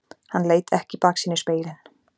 Hann leit ekki í baksýnisspegilinn.